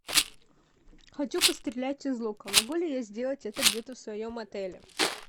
хочу пострелять из лука могу ли я сделать это где то в своем отеле